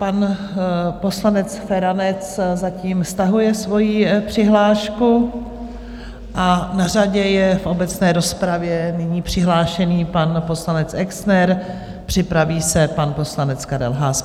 Pan poslanec Feranec zatím stahuje svoji přihlášku a na řadě je v obecné rozpravě nyní přihlášený pan poslanec Exner, připraví se pan poslanec Karel Haas.